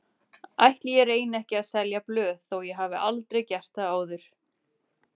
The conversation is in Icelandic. Ætli ég reyni ekki að selja blöð þó ég hafi aldrei gert það áður.